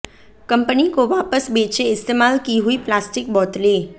company को वापस बेचें इस्तेमाल की हुई प्लास्टिक बोतलें